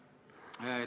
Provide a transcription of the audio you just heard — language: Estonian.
Väga lugupeetud minister!